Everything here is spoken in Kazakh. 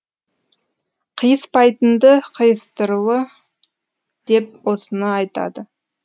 қыйыспайтынды қыйыстырыу деп осыны айтады